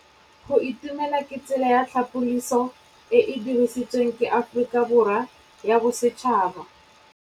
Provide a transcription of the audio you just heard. Go itumela ke tsela ya tlhapolisô e e dirisitsweng ke Aforika Borwa ya Bosetšhaba.